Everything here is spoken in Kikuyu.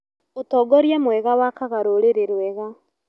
ũtongoria mwega wakaga rũrĩrĩ rwega